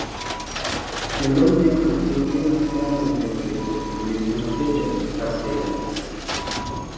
Kendo miyo okenge ma Iran oseketo obed ma pile ka pile."